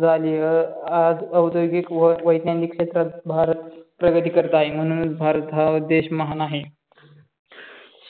झाली आज औद्योगिक व वैज्ञानिक क्षेत्रात भारत प्रगती करत आहे. म्हणूनच भारत हा देश महान आहे.